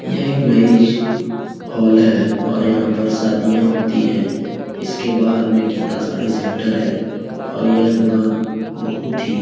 यह एक marriage hall है और यहाँ पर शादियाँ होती हैं। इसके बाहर में गीता साड़ी सेंटर है और यह दुकान बहोत ही --